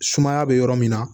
Sumaya bɛ yɔrɔ min na